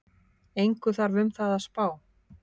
Engu þarf um það að spá,